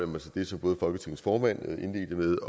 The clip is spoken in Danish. mig til det som både folketingets formand indledte med